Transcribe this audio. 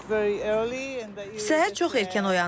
Səhər çox erkən oyandım.